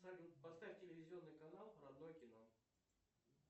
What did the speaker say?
салют поставь телевизионный канал родное кино